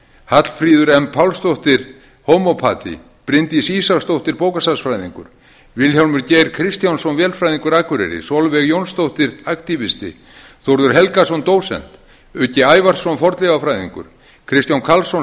hallfríður m pálsdóttir homópati bryndís ísaksdóttir bókasafnsfræðingur vilhjálmur geir kristjánsson vélfræðingur akureyri sólveig jónsdóttir aktívisti þórður helgason dósent uggi ævarsson fornleifafræðingur kristján karlsson